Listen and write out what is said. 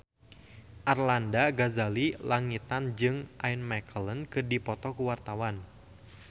Arlanda Ghazali Langitan jeung Ian McKellen keur dipoto ku wartawan